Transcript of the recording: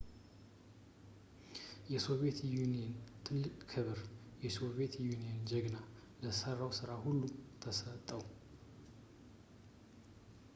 የሶቪየት ዩኒየን ትልቅ ክብር «የሶቪየት ዩኒየን ጀግና» ለሠራው ሥራ ሁሉ ተሰጠው